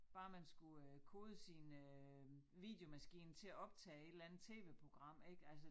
Bare man skulle øh kode sin øh videomaskine til at optage et eller andet tv-program ik altså